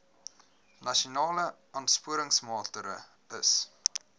nasionale aansporingsmaatre ls